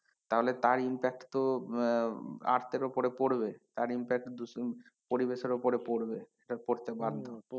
তাহলে তার impact তো আহ earth এর ওপরে পড়বে তার impact পরিবেশের ওপরে পড়বে, পড়তে বাধ্য।